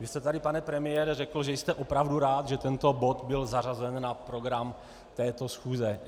Vy jste tady, pane premiére, řekl, že jste opravdu rád, že tento bod byl zařazen na program této schůze.